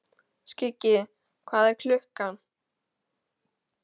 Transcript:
Skuggi, hvað er klukkan?